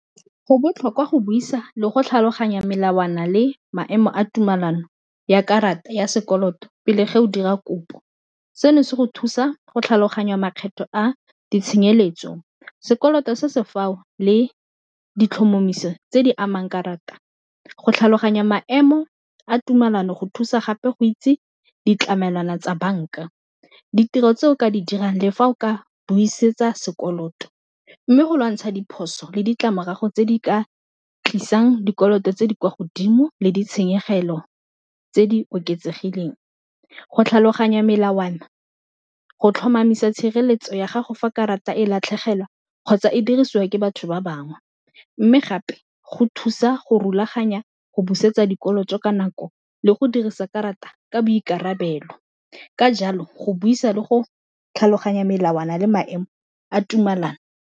Go botlhokwa go buisa le go tlhaloganya melawana le maemo a tumelano ya karata ya sekoloto pele ge o dira kopo, seno se go thusa go tlhaloganya makgetho a ditshenyelo setso sekoloto se se fao le ditlhomamiso tse di amang karata, go tlhaloganya maemo a tumelano go thusa gape go itse ditlamelwana tsa banka, ditiro tse o ka di dirang le fa o ka buisetsa sekoloto, mme go lwantsha diphoso le ditlamorago tse di ka tlisang dikoloto tse di kwa godimo le ditshenyegelo tse di oketsegileng, go tlhaloganya melawana go tlhomamisa tshireletso ya gago fa karata e latlhegelwa kgotsa e dirisiwa ke batho ba bangwe, mme gape go thusa go rulaganya go busetsa dikolo ka nako le go dirisa karata ka boikarabelo, ka jalo go buisa le go tlhaloganya melawana le maemo a tumelano.